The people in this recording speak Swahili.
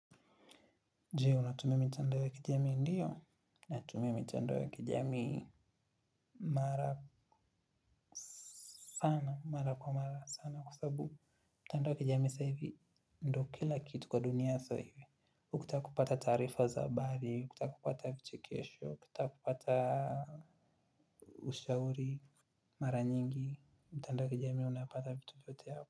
Jee, unatumia mitandao ya kijamii ndiyo? Natumia mitandao ya kijamii. Mara sana, mara kwa mara sana kwa sababu mtandao wa kijamii sa hivi. Ndo kila kitu kwa dunia sa hivi. Ukitaka kupata taarifa za habari, ukitaka kupata vichekesho, ukitaka kupata ushauri. Mara nyingi, mtandao wa kijamii unapata vitu vyote hapa.